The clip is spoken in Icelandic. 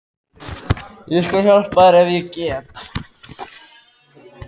Ég skal hjálpa þér ef ég get.